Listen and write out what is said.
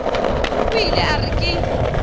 o ile a re ke